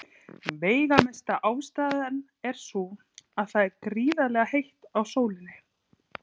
Veigamesta ástæðan er sú að það er gríðarlega heitt á sólinni.